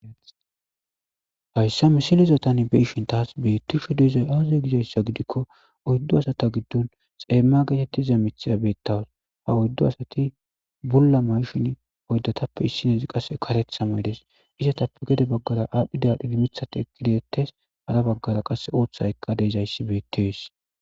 hayssa misilizatan beishin taas beittisho deizoy aazey gizayssa gidikko oyddu asata giddun xeemma getettiza mithira beettawas ha oyddu asati bulla mayshin oyddatappe issinezi qasse karet hamaydes isatappe gede baggara aadhdhidealhdhidi mithati ekideettes hara baggara qasse ooththa ekka deezayssi beettees